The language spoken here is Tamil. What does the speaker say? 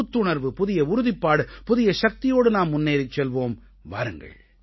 ஒரு புத்துணர்வு புதிய உறுதிப்பாடு புதிய சக்தியோடு நாம் முன்னேறிச் செல்வோம் வாருங்கள்